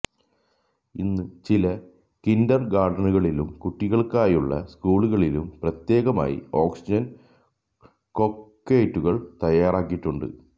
ഇന്ന് ചില കിൻർഗാർട്ടനുകളിലും കുട്ടികൾക്കായുള്ള സ്കൂളുകളിലും പ്രത്യേകമായി ഓക്സിജൻ കോക്ടെയ്റ്റുകൾ തയ്യാറാക്കിയിട്ടുണ്ട്